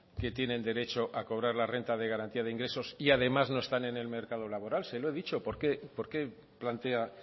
que tienen derecho a cobrar la renta de garantía de ingresos y además no están en el mercado laboral se lo he dicho por qué plantea